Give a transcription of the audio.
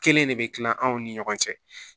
Kelen de bɛ kila anw ni ɲɔgɔn cɛ